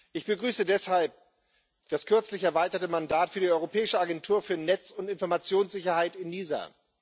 Ich begrüße deshalb das kürzlich erweiterte Mandat für die Europäische Agentur für Netz und Informationssicherheit ENISA.